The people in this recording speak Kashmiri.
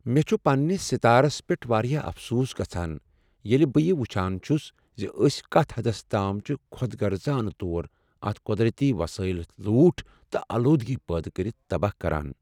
مےٚ چھ پننِس ستارس پیٹھ واریاہ افسوس گژھان ییٚلہِ بہٕ یہِ وٕچھان چُھس زِ أسۍ کتھ حدس تام چھ خۄد غرضانہٕ طور اتھ قۄرتی وسٲیل لوٹھ تہٕ آلودگی پٲدٕ کٔرِتھ تباہ کران۔